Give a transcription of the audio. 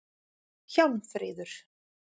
Hjálmfríður